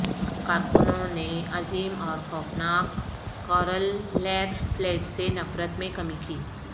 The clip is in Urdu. کارکنوں نے عظیم اور خوفناک کارل لئیرفیلڈ سے نفرت میں کمی کی